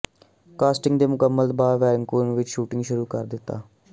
casting ਦੇ ਮੁਕੰਮਲ ਬਾਅਦ ਵੈਨਕੂਵਰ ਵਿੱਚ ਸ਼ੂਟਿੰਗ ਸ਼ੁਰੂ ਕਰ ਦਿੱਤਾ